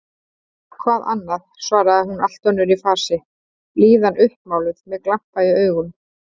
Hvað annað? svaraði hún allt önnur í fasi, blíðan uppmáluð, með glampa í augum.